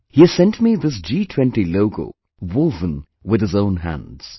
He has sent me this G20 logo woven with his own hands